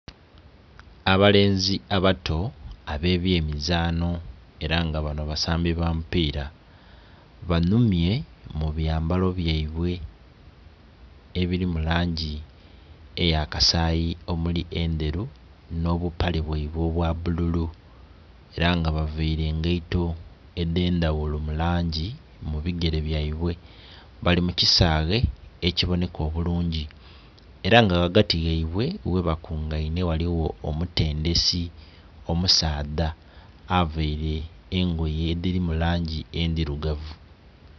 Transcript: Abalenzi abato ab'ebyemizaanho ela nga banho basambi ba mupiira. Banhumye mu byambalo byaibwe ebili mu langi eya kasayi omuli endhelu nho bupale bwaibwe obwa bbululu era nga bavaile engaito edh'endhaghulo mu langi mu bigele byaibwe. Bali mu kisaghe ekibonheka obulungi ela nga ghagati ghaibwe ghe bakungainhe ghaligho omutendhesi omusaadha aveire engoye edhili mu langi endhilugavu.